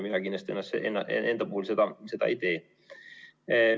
Mina kindlasti enda puhul seda ei tee.